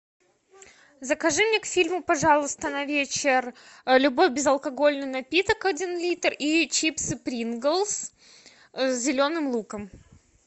закажи мне к фильму пожалуйста на вечер любой безалкогольный напиток один литр и чипсы принглс с зеленым луком